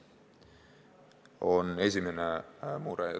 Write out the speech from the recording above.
See on esimene mure.